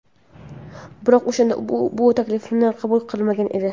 Biroq o‘shanda u bu taklifni qabul qilmagan edi.